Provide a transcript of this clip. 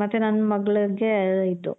ಮತ್ತೆ ನನ್ ಮಗಳಿಗೆ ಇದು